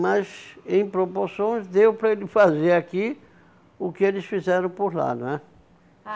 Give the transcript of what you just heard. Mas, em proporções, deu para ele fazer aqui o que eles fizeram por lá, não é?